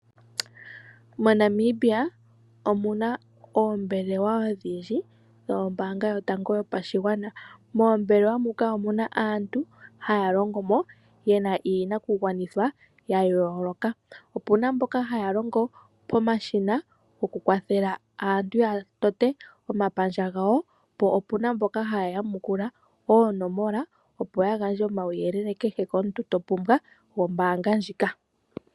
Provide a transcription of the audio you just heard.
MoNamibia omuna oombelewa odhindji dhombaanga yotango yopashigwana .Moombelewa muka omuna aantu haya longomo yena iinakugwanitha ya yooloka. Opuna mboka haya longo pomashina gokukwathela aantu ya patulule omapandja gawo po opena mboka haya yamukula oonomola opo yagandje omawuyelele kehe komuntu topumbwa gombaanga ndjika.